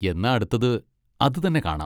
എന്നാ അടുത്തത് അത് തന്നെ കാണാം.